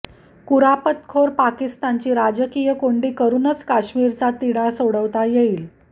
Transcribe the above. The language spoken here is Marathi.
कुरापतखोर पाकिस्तानची राजकीय कोंडी करूनच काश्मीरचा तिढा सोडवता येईल